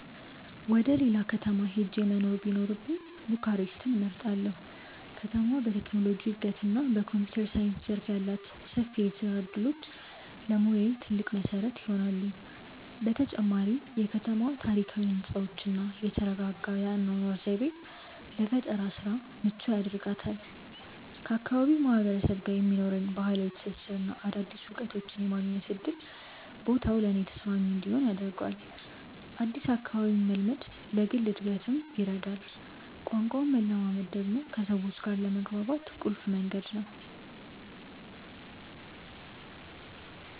ወደ ሌላ ከተማ ሄጄ መኖር ቢኖርብኝ ቡካሬስትን እመርጣለሁ። ከተማዋ በቴክኖሎጂ እድገትና በኮምፒውተር ሳይንስ ዘርፍ ያሏት ሰፊ የስራ እድሎች ለሙያዬ ትልቅ መሰረት ይሆናሉ። በተጨማሪም የከተማዋ ታሪካዊ ህንፃዎችና የተረጋጋ የአኗኗር ዘይቤ ለፈጠራ ስራ ምቹ ያደርጋታል። ከአካባቢው ማህበረሰብ ጋር የሚኖረኝ ባህላዊ ትስስርና አዳዲስ እውቀቶችን የማግኘት እድል ቦታው ለእኔ ተስማሚ እንዲሆን ያደርገዋል። አዲስ አካባቢን መልመድ ለግል እድገትም ይረዳል። ቋንቋን መለማመድ ደግሞ ከሰዎች ጋር ለመግባባት ቁልፍ መንገድ ነው።